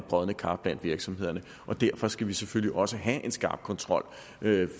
brodne kar blandt virksomhederne derfor skal vi selvfølgelig også have en skarp kontrol